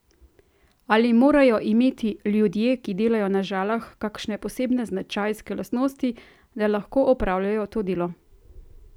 Ali morajo imeti ljudje, ki delajo na Žalah, kakšne posebne značajske lastnosti, da lahko opravljajo to delo?